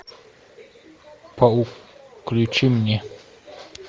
паук включи мне